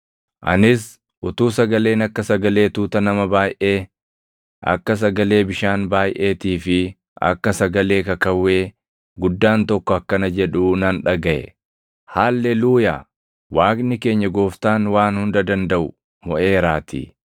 Anis utuu sagaleen akka sagalee tuuta nama baayʼee, akka sagalee bishaan baayʼeetii fi akka sagalee kakawwee guddaan tokko akkana jedhuu nan dhagaʼe: “Haalleluuyaa! Waaqni keenya Gooftaan Waan Hunda Dandaʼu moʼeeraatii.